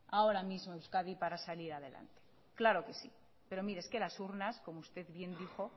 ahora mismo euskadi para salir adelante claro que si pero mire es que las urnas como usted bien dijo